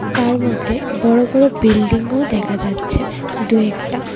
তার মধ্যে বড়ো বড়ো বিল্ডিংও দেখা যাচ্ছে দু একটা .]